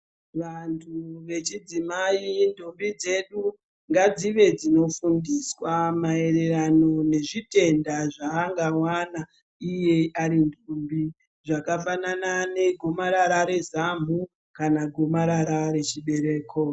Vantu vechidzimayi ndombi dzedu ngadzive dzinofundiswa maererano nezvi tenda zvaangawana iye ari ndombi zvakafanana ne gomarara re zamhu kana gomarara rechibereko.